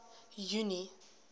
junie